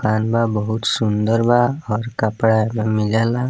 आलना बहुत सुन्दर बा और कपड़ा इमें मिल जाला।